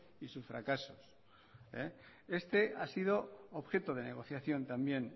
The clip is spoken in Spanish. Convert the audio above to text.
y sus fracasos este ha sido objeto de negociación también